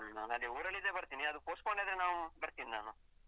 ಹ್ಮ್ ಅದೇ ಊರಲ್ಲಿ ಇದ್ರೆ ಬರ್ತೀನಿ ಅದು postpone ಆದ್ರೆ ನಾನು ಬರ್ತೀನಿ ನಾನು.